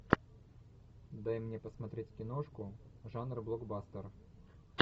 дай мне посмотреть киношку жанр блокбастер